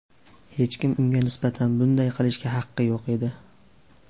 Hech kim unga nisbatan bunday qilishga haqi yo‘q edi.